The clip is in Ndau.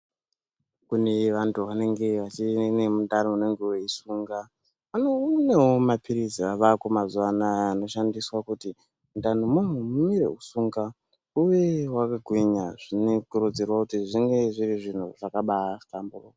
Kune vantu vanenge vachiri nemundani unenge weisunga vane kunewo mapilizi avako mazuva anaya anoshandiswa kuti mundani mavo mumire kusunga uye wakagwinya zvinokurudzirwa kuti zvinge zviri zvinhu zvakabaahlamburuka.